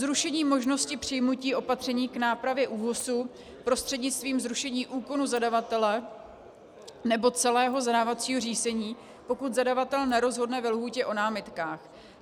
Zrušení možnosti přijmutí opatření k nápravě ÚOHSu prostřednictvím zrušení úkonu zadavatele nebo celého zadávacího řízení, pokud zadavatel nerozhodne ve lhůtě o námitkách.